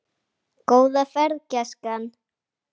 Góða ferð, gæskan!